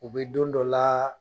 U be don dɔ la